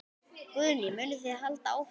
Guðný: Munið þið halda áfram?